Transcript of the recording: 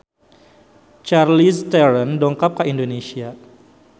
Charlize Theron dongkap ka Indonesia